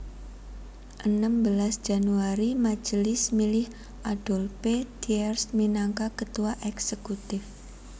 Enem belas Januari Majelis milih Adolphe Thiers minangka Ketua Èksekutif